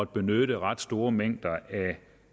benytte ret store mængder af